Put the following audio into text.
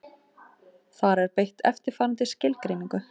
Þar er beitt eftirfarandi skilgreiningu: